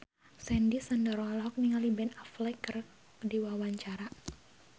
Sandy Sandoro olohok ningali Ben Affleck keur diwawancara